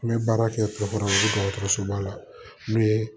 N bɛ baara kɛ dɔgɔtɔrɔsoba la n'o ye